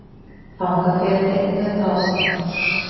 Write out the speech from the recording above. Þangað fer hún einnig með bráð sína.